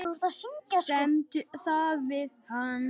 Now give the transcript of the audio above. Semdu um það við hann.